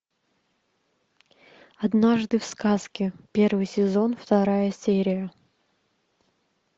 однажды в сказке первый сезон вторая серия